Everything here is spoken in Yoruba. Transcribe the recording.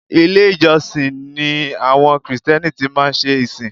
Ilé-ìjọsìn ni àwọn Krìsìtẹ́nì tí má ń ṣe ìsìn